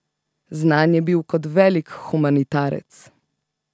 Znan je bil kot velik humanitarec.